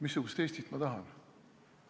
Missugust Eestit ma tahan?